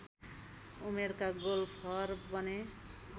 उमेरका गोल्फर बने